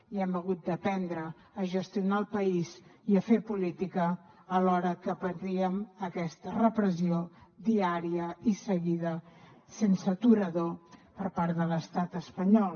i hem hagut d’aprendre a gestionar el país i a fer política alhora que patíem aquesta repressió diària i seguida sense aturador per part de l’estat espanyol